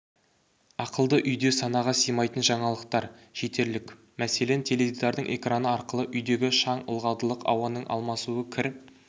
ақылды үйде санаға сыймайтын жаңалықтар жетерлік мәселен теледидардың экраны арқылы үйдегі шаң ылғалдылық ауаның алмасуы кір